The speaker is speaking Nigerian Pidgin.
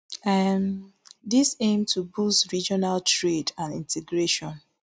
um dis aim to boost regional trade and integration